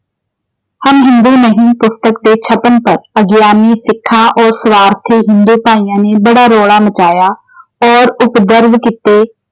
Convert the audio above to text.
ਹਮ ਹਿੰਦੂ ਨਹੀਂ ਪੁਸਤਕ ਦੇ ਛਪਣ ਤੱਕ ਅਗਿਆਨੀ ਸਿੱਖਾਂ ਔਰ ਸਵਾਰਥੀ ਹਿੰਦੂਆਂ ਭਾਇਆਂ ਨੇ ਬੜਾ ਰੌਲਾ ਮਚਾਇਆ ਔਰ ਕੀਤੇ।